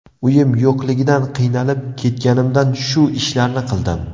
Uyim yo‘qligidan, qiynalib ketganimdan shu ishlarni qildim.